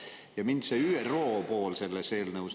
Ja mind huvitab ÜRO pool selles eelnõus.